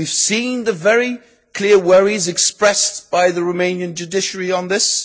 We have seen the very clear worries expressed by the Romanian judiciary on this.